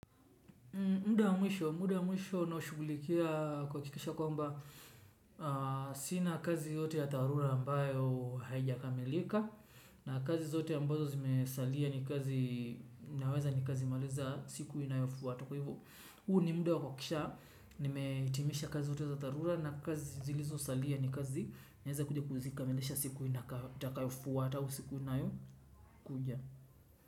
Muda mwisho, muda mwisho no shugulikia kwa kikisha kwa mba, sina kazi yote ya tarula ambayo haijakamilika, na kazi zote ambazo zimesalia ni kazi, naweza ni kazi maliza siku inayofu wataku hivu. Huu ni muda wa kuhakikisha, nimehitimisha kazi zote za dharura, na kazi zilizosalia ni kazi naweza kuja kuzikamilisha siku itakayofuata au siku inayo kuja.